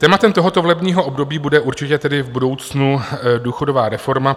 Tématem tohoto volebního období bude určitě tedy v budoucnu důchodová reforma.